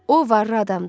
O varlı adamdır.